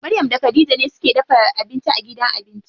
Maryam da Khadija ne suke dafa abinci a gidan abinci.